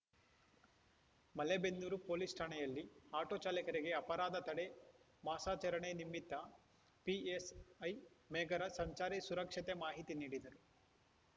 Malebennur police ಠಾಣೆಯಲ್ಲಿ auto ಚಾಲಕರಿಗೆ ಅಪರಾಧ ತಡೆ ಮಾಸಾಚರಣೆ ನಿಮಿತ್ತ ಪಿಎಸ್‌ಐ ಮೇಘರಾಜ್‌ ಸಂಚಾರಿ ಸುರಕ್ಷತೆ ಮಾಹಿತಿ ನೀಡಿದರು